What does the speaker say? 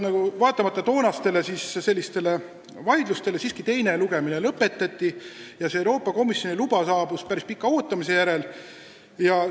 Vaatamata toonastele vaidlustele siiski teine lugemine lõpetati ja päris pika ootamise järel see Euroopa Komisjoni luba saabus.